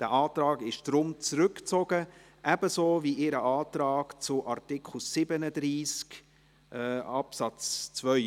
Dieser Antrag ist deshalb zurückgezogen worden, ebenso ihr Antrag zu Artikel 37 Absatz 2.